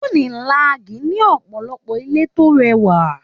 Unilag ní ọ̀pọ̀lọpọ̀ ilé tó rẹwà.